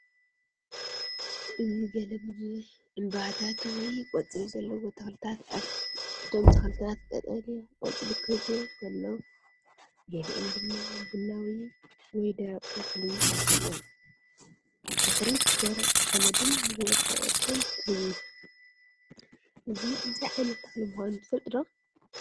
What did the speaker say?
እዚ ገለ ብዙሕ ዕምባባታት ወይ ቆጽሊ ዘለዎም ተኽልታት ኣለው። እቶም ተኽልታት ቀጠልያ ቆጽሊ ክህልዎም ከሎ ገሊኦም ድማ ቡናዊ ወይ ደረቕ ቆጽሊ ኣለዎም። ኣብ ድሕሪት ደረቕ ሓመድን ዝወደቐ ቆጽልን ትርኢ። እዚ እንታይ ዓይነት ተኽሊ ምዃኑ ትፈልጡ ዶ?